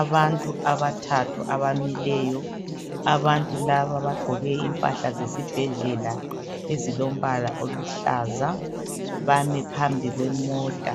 Abantu bathathu amileyo , abantu laba baqoke imphahla zesibhedlela ezilombala oluhlaza bame phambi kwemota,